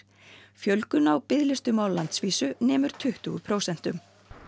fjölgun á biðlistum á landsvísu nemur tuttugu prósentum í